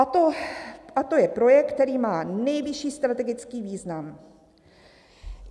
A to je projekt, který má nejvyšší strategický význam.